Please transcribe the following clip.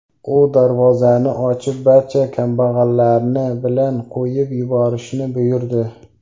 U darvozani ochib, barcha kambag‘allarni bilan qo‘yib yuborishni buyurdi.